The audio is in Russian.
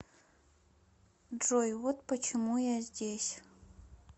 джой вот почему я здесь